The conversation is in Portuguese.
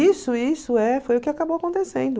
Isso, isso é. Foi o que acabou acontecendo.